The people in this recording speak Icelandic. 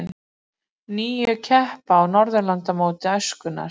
Níu keppa á Norðurlandamóti æskunnar